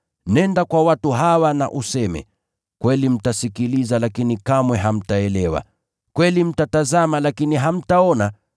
“ ‘Nenda kwa watu hawa na useme, “Hakika mtasikiliza lakini hamtaelewa; na pia mtatazama, lakini hamtaona.”